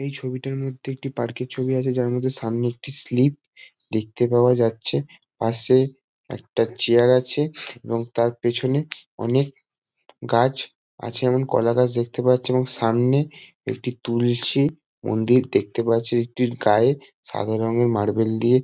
এই ছবিটার মধ্যে একটি পার্ক -এর ছবি আছে যার মধ্যে সামনে একটি স্লিপ দেখতে পাওয়া যাচ্ছে। পাশে একটা চেয়ার আছে এবং তার পেছনে অনেক গাছ আছে। যেমন- কলা গাছ দেখতে পাওয়া যাচ্ছে এবং সামনে একটি তুলসী মন্দির দেখতে পাওয়া যাচ্ছে। এটির গায়ে সাদা রঙের মার্বেল দিয়ে --